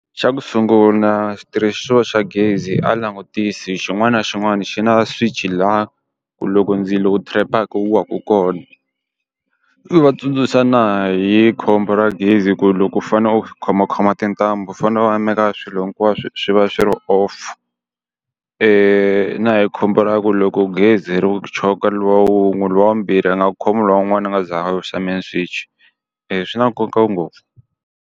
Xa ku sungula xitirhisiwa xa gezi a langutisi xin'wana na xin'wana xi na swichi laha ku loko ndzilo wu trap-a wu waka kona. Ni va tsundzuxa na hi khombo ra gezi ku loko u fanele u khomakhoma tintambu fanele maka swilo hinkwaswo swi va swi ri off. na hi khombo ra ku loko gezi ri choka loyi wun'we loyi wa vumbirhi a nga khomiwi lowun'wana a nga se za a wisa main switch-i. swi na nkoka ngopfu.